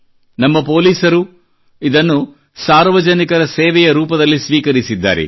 ನಮ್ಮ ಪೊಲೀಸರು ಇದನ್ನು ಸಾರ್ವಜನಿಕರ ಸೇವೆಯ ರೂಪದಲ್ಲಿ ಸ್ವೀಕರಿಸಿದ್ದಾರೆ